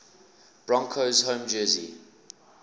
broncos home jersey